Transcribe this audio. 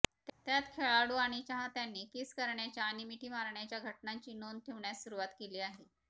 त्यात खेळाडू आणि चाहत्यांनी किस करण्याच्या आणि मिठी मारण्याच्या घटनांची नोंद ठेवण्यास सुरुवात केली आहे